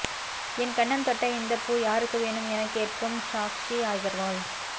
என் கன்னம் தொட்ட இந்த பூ யாருக்கு வேணும் என கேட்கும் சாக்ஷி அகர்வால்